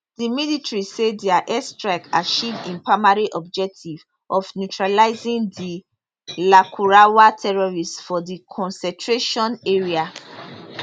di military say dia airstrike achieve im primary objective of neutralising di lakurawa terrorists for di concentration area